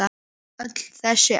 Öll þessi ár?